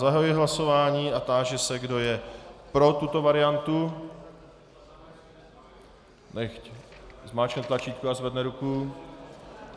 Zahajuji hlasování a táži se, kdo je pro tuto variantu, nechť zmáčkne tlačítko a zvedne ruku.